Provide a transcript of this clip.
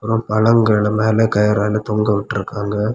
பழங்கள மேல கயிரால தொங்க விட்றுக்காங்க.